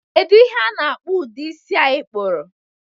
Kedu ihe ana-akpọ ụdi isi a i kpuru?